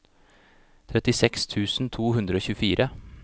trettiseks tusen to hundre og tjuefire